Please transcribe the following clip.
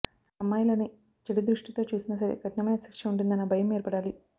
అమ్మాయిలని చెడు దృష్టితో చూసినా సరే కఠినమైన శిక్ష వుంటుందన్న భయం ఏర్పడాలి